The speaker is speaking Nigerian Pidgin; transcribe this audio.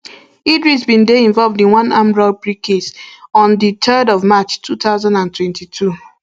idris bin dey involved in one armed robbery case um on di threerd of march two thousand and twenty-two